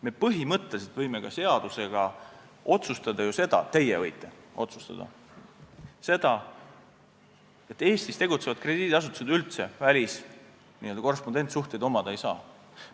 Me põhimõtteliselt võime või teie võite seadusega otsustada, et Eestis tegutsevad krediidiasutused üldse n-ö korrespondentsuhteid omada ei saa.